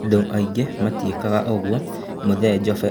"Andũ aingĩ matiĩkaga ũguo,"Mũthee Jofe akiuga.